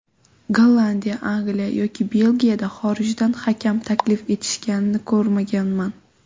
Gollandiya, Angliya yoki Belgiyada xorijdan hakam taklif etishganini ko‘rmaganman.